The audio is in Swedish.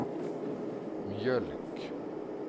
mjölk